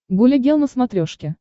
гуля гел на смотрешке